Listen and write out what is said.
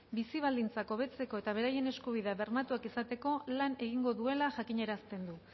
bizi baldintzak hobetzeko eta beraien eskubideak bermatuak izateko lan egingo duela jakinarazten du